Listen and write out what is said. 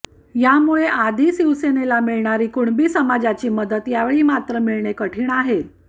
यामुळे या आधी शिवसेनेला मिळणारी कुणबी समाजाची मदत यावेळी मात्र मिळणे कठीण आहे